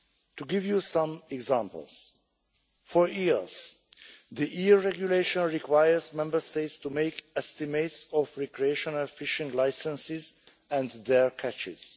To give you some examples for eels, the EU regulation requires Member States to make estimates of recreational fishing licenses and their catches.